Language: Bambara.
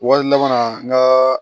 Wari laban na n ka